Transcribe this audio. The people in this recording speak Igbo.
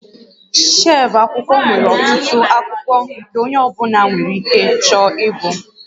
Shelf akwụkwọ nwere ọtụtụ akwụkwọ nke onye ọ bụla nwere ike chọọ ịgụ